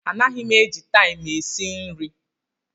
Anaghị m eji taịmụ esi nri.